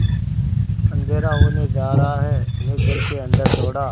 अँधेरा होने जा रहा है मैं घर के अन्दर दौड़ा